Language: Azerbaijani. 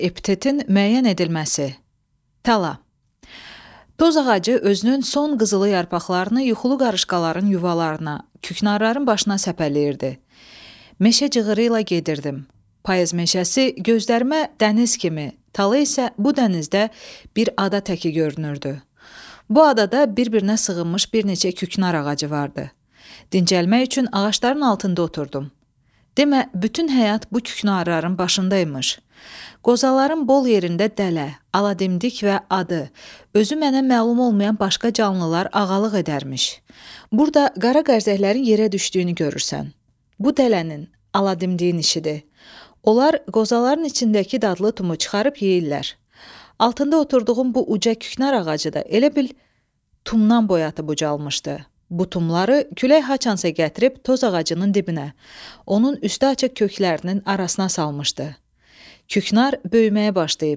Küknar böyüməyə başlayıb.